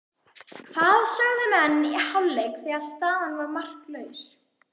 Hvað sögðu menn í hálfleik þegar staðan var markalaus?